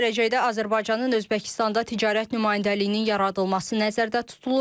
Yaxın gələcəkdə Azərbaycanın Özbəkistanda ticarət nümayəndəliyinin yaradılması nəzərdə tutulur.